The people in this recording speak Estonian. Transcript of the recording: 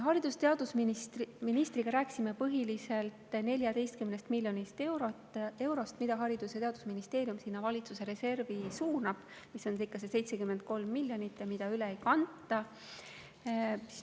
Haridus‑ ja teadusministriga rääkisime põhiliselt 14 miljonist eurost, mida Haridus‑ ja Teadusministeerium suunab sinna valitsuse reservi, mida on ikkagi see 73 miljonit ja mida üle ei kanta.